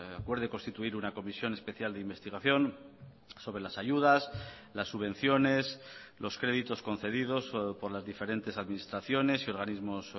acuerde constituir una comisión especial de investigación sobre las ayudas las subvenciones los créditos concedidos por las diferentes administraciones y organismos